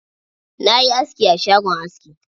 Na yi aski a shagon aski.